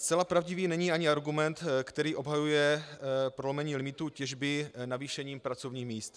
Zcela pravdivý není ani argument, který obhajuje prolomení limitů těžby navýšením pracovních míst.